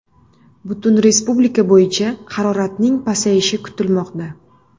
Butun respublika bo‘yicha haroratning pasayishi kutilmoqda.